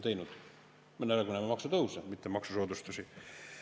Me näeme nüüd aga maksutõuse, mitte maksusoodustusi.